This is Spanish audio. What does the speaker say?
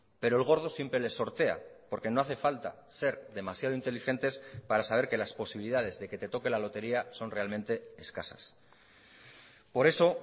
pero el gordo siempre les sortea porque no hace falta ser demasiado inteligentes para saber que las posibilidades de que te toque la lotería son realmente escasas por eso